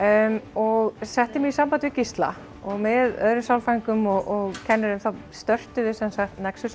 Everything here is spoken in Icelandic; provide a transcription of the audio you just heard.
og setti mig í samband við Gísla og með öðrum sálfræðingum og kennurum þá störtuðum við sem sagt nexus